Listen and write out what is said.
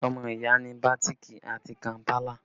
Ọmọ ìyá ni bàtíìkì àti kàmpálà